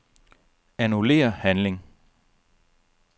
Annullér handling.